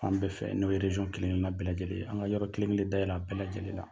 An bɛɛ fɛ n'o kelen kelen na bɛɛ lajɛlen, an ka yɔrɔ kelen kelen da yɛlɛ a bɛɛ lajɛlen la.